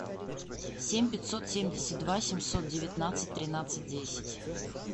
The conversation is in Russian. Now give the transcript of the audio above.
семь пятьсот семьдесят два семьсот девятнадцать тринадцать десять